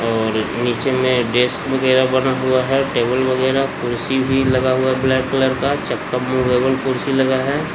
नीचे में डेस्क वगेरा बना हुआ है टेबल वगेरा कुर्सी भी लगा हुआ है ब्लैक कलर का चक्का --